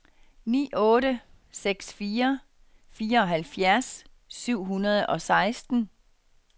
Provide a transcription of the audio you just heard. ni otte seks fire fireoghalvfjerds syv hundrede og seksten